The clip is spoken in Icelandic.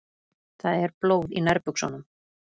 Það er blóð í nærbuxunum.